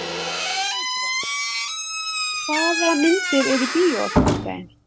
Sæbrá, hvaða myndir eru í bíó á fimmtudaginn?